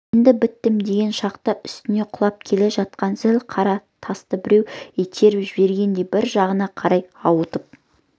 енді біттім деген шақта үстіне құлап келе жатқан зіл қара тасты біреу итеріп жібергендей бір жағына қарай ауытқып